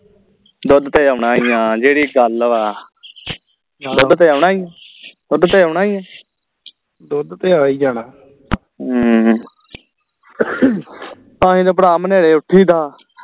ਦੁੱਧ ਤੇ ਆਉਣਾ ਹੀ ਆ ਜਿਹੜੀ ਗੱਲ ਵਾ ਦੁੱਧ ਤੇ ਆਉਣਾ ਹੀ ਹੈ ਦੁੱਧ ਤੇ ਆਉਣਾ ਹੀ ਹੈ ਹਮ ਤਾਂ ਹੀ ਤਾ ਭਰਾ ਮੂੰਹ ਨੇਹਰੇ ਉਠੀ ਦਾ